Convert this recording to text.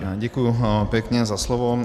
Děkuji pěkně za slovo.